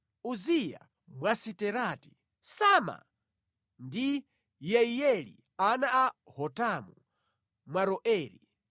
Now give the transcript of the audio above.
Uziya Mwasiterati, Sama ndi Yeiyeli ana a Hotamu Mwaroeri,